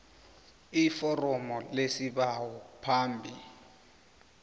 iforomo lesibawo phambi